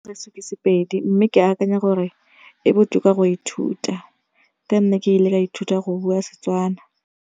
Sepedi mme ke akanya gore e botoka go ithuta ka nna ke ile ka ithuta go bua Setswana.